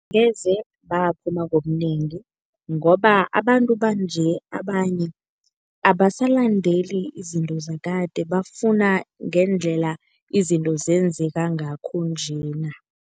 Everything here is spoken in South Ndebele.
Ngeze baphuma ngobunengi ngoba abantu banje abanye abasalandeli izinto zakade bafuna ngendlela izinto zenzeka ngakho njena.